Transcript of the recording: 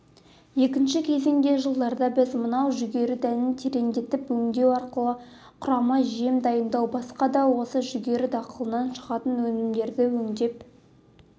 екінші кезеңде жылдарда біз мынау жүгері дәнін тереңдетіп өңдеу арқылы құрама жем дайындау басқа да осы жүгері дақылынан шығатын өнімдерді өңдеп